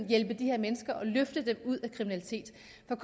hjælpe de her mennesker og løfte dem ud af kriminalitet